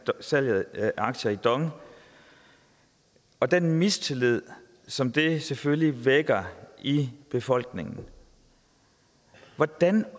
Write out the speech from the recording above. salget af aktier i dong og den mistillid som det selvfølgelig vækker i befolkningen hvordan